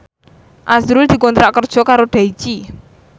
azrul dikontrak kerja karo Daichi